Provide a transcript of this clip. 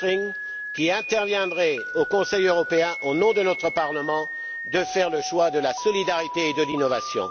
Pöttering, qui interviendrez au Conseil européen au nom de notre Parlement, de faire le choix de la solidarité et de l'innovation.